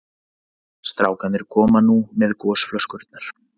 Strákarnir komu nú með gosflöskurnar.